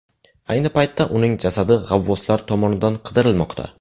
Ayni paytda uning jasadi g‘avvoslar tomonidan qidirilmoqda.